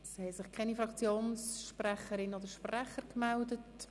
Es haben sich keine Fraktionssprecherinnen oder -sprecher gemeldet.